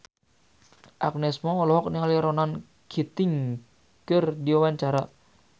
Agnes Mo olohok ningali Ronan Keating keur diwawancara